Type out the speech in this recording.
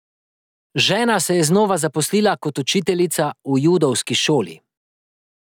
Žena se je znova zaposlila kot učiteljica v judovski šoli.